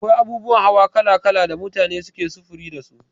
Akwai abubuwan hawa kala kala da mutane suke sufuri dasu.